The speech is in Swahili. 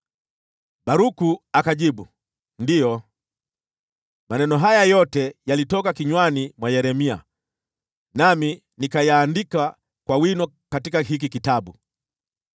Baruku akajibu, “Ndiyo, maneno haya yote yalitoka kinywani mwa Yeremia, nami nikayaandika kwa wino katika hiki kitabu.”